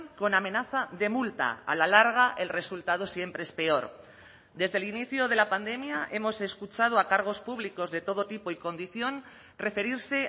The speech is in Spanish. con amenaza de multa a la larga el resultado siempre es peor desde el inicio de la pandemia hemos escuchado a cargos públicos de todo tipo y condición referirse